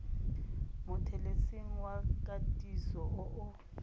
mothelesing wa katiso o o